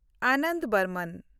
Anand Barman